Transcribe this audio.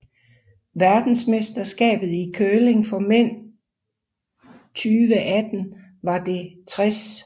Verdensmesterskabet i curling for mænd 2018 var det 60